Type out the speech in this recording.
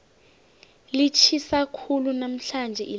litjhisa khulu namhlanje ilanga